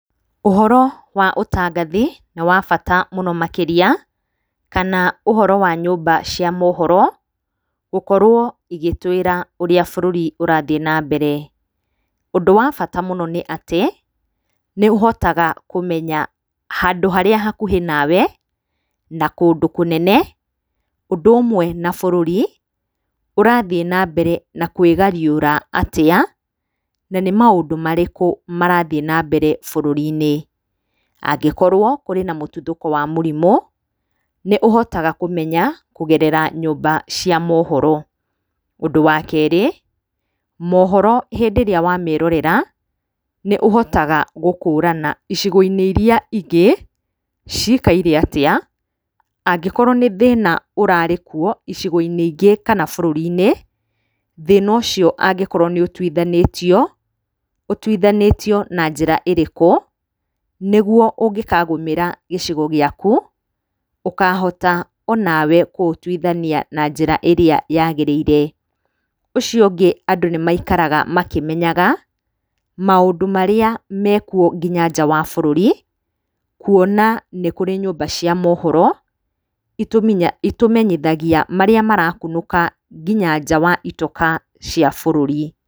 Ũhoro wa ũtangathi nĩ wa bata mũno makĩria kana ũhoro wa nyũmba cia mohoro gũkorwo igĩtwĩra ũrĩa bũrũri ũrathiĩ na mbere. Ũndũ wa bata mũno nĩ atĩ nĩũhotaga kũmenya handũ harĩa hakuhĩ nawe na kũndũ kũnene, ũndũ ũmwe na bũrũri ũrathiĩ na mbere na kwĩgariũra atĩa. Na nĩ maũndũ marĩkũ marathiĩ na mbere bũrũri-inĩ. Angĩkorwo kwĩna mũtuthũko wa mũrimũ nĩũhotaga kũmenya kũgerera nyũmba cia mohoro. Ũndũ wa kerĩ mohoro hĩndĩ ĩrĩa wamerorera nĩ ũhotaga gũkũrana icigo-inĩ iria ingĩ cikaire atĩa. Angĩkorwo nĩ thĩna ũrarĩ kuo icigo-inĩ ingĩ kana bũrũri-inĩ, thĩna ũcio angĩkorwo nĩ ũtuithanĩtio ũtuithanĩtio na njĩra ĩrĩkũ nĩguo ũngĩkagũmĩra gĩcigo gĩaku ũkahota onawe kũũtuithania na njĩra ĩrĩa yagĩrĩire. Ũcio ũngĩ andũ nĩmaikaraga makĩmenyaga maũndũ marĩa mekuo nginya nja wa bũrũri, kuona nĩ kũrĩ nyũmba cia mohoro itũmenyithagia marĩa marakunũka nginya nja wa itoka cia bũrũri.